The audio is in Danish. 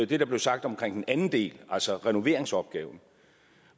det der blev sagt om den anden del altså renoveringsopgaven